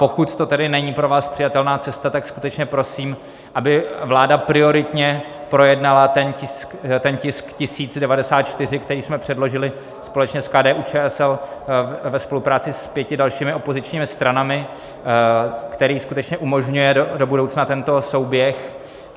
Pokud to tedy není pro vás přijatelná cesta, tak skutečně prosím, aby vláda prioritně projednala ten tisk 1094, který jsme předložili společně s KDU-ČSL ve spolupráci s pěti dalšími opozičními stranami, který skutečně umožňuje do budoucna tento souběh.